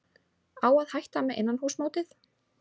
Á að hætta með innanhússmótið?